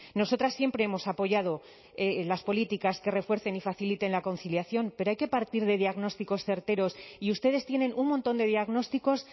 nosotras siempre hemos apoyado las políticas que refuercen y faciliten la conciliación pero hay que partir de diagnósticos certeros y ustedes tienen un montón de diagnósticos